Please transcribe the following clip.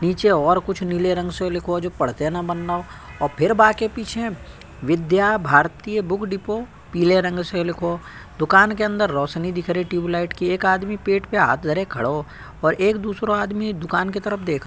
पीछे और कुछ नीले रंग से लिखो जो पढ़ते ना बन्नो हो और फिर बा के पीछे विद्या भारती बुक डिपो पीले रंग से लिखो दुकान के अंदर रोशनी दिख रही ट्यूबलाइट की एक आदमी पेट पे हाथ धर के खड़ो हो और एक दूसरों आदमी दुकान की तरफ देख --